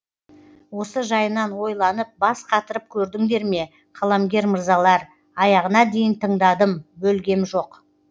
осы жайынан ойланып бас қатырып көрдіңдер ме қаламгер мырзалар аяғына дейін тыңдадым бөлгем жоқ